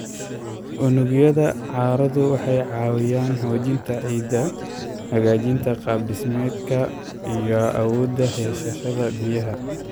Unugyada carradu waxay caawiyaan xoojinta ciidda, hagaajinta qaab-dhismeedkeeda iyo awoodda haysashada biyaha.